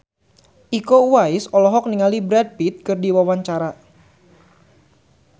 Iko Uwais olohok ningali Brad Pitt keur diwawancara